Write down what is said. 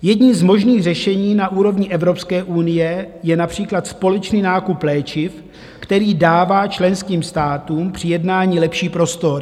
Jedním z možných řešení na úrovni Evropské unie je například společný nákup léčiv, který dává členským státům při jednání lepší prostor.